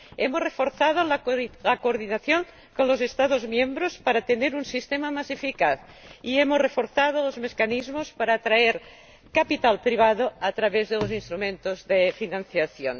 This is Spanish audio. hemos reforzado la coordinación con los Estados miembros para tener un sistema más eficaz y hemos reforzado los mecanismos para atraer capital privado a través de los instrumentos de financiación.